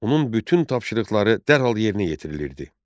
Onun bütün tapşırıqları dərhal yerinə yetirilirdi.